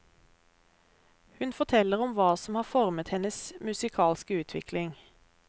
Hun forteller om hva som har formet hennes musikalske utvikling.